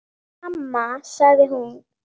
Mamma sagði hún.